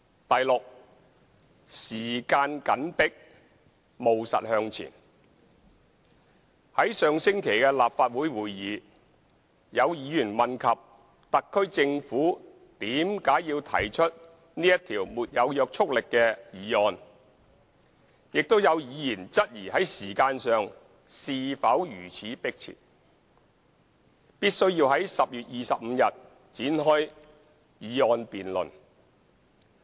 f 時間緊迫務實向前在上星期的立法會會議，有議員問及特區政府為何要提出這項沒有約束力的議案，亦有議員質疑在時間上是否如此迫切，必須要在10月25日展開議案辯論。